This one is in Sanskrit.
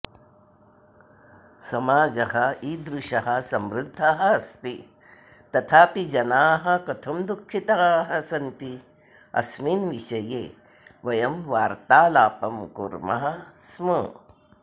समाजः इदृषः समृद्धः अस्ति तथापि जनाः कथं दुःखिताः सन्ति अस्मिन् विषये वयं वार्तालापं कुर्मः स्म